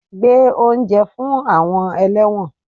Gbé oúnjẹ fún àwọn ẹlẹ́wọ̀n